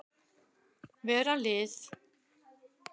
Vera lið.